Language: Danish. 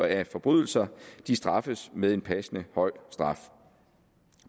af forbrydelser straffes med en passende høj straf